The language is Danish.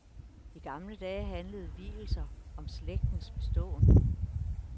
I gamle dage handlede vielser om slægtens beståen.